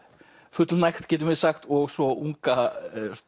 fullnægt getum við sagt og svo unga